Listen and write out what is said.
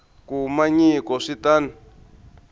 kuma nyiko swi ta n